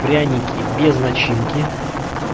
пряники без начинки